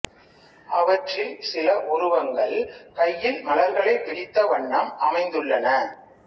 அவற்றில் சில உருவங்கள் கையில் மலர்களைப் பிடித்த வண்ணம் அமைந்துள்ளன